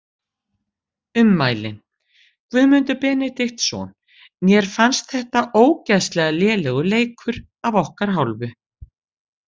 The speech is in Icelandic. Ummælin: Guðmundur Benediktsson Mér fannst þetta ógeðslega lélegur leikur af okkar hálfu.